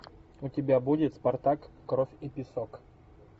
у тебя будет спартак кровь и песок